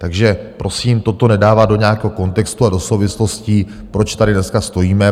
Takže prosím toto nedávat do nějakého kontextu a do souvislostí, proč tady dneska stojíme.